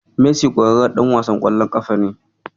Messi ƙwararren ɗan wasan ƙwallon ƙafa ne.